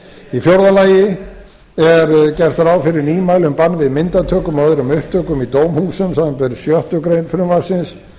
í fjórða lagi er gert ráð fyrir nýmæli um bann við myndatökum og öðrum upptökum í dómhúsum samanber sjöttu greinar frumvarpsins